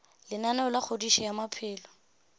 lenaneo la kgodišo ya maphelo